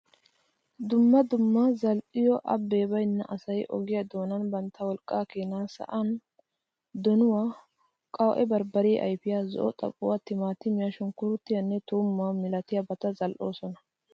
Dumma dumma zal'iyo abbe baynna asay ogiya doonan bantta wolqqakkena sa'an doonuwaa, qawu'e barbariya ayfiyaa, zo'o xaphphuwwa, timatimiya, shunkkurityaanne tuumuwaa milatiyabata zal'oosona.